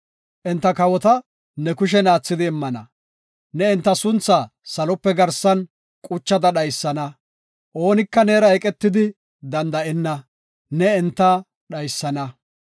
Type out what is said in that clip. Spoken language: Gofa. Enta kawota ne kushen aathidi immana. Ne enta suntha salope garsan quchada dhaysana. Oonika neera eqetidi danda7enna; ne enta dhaysana.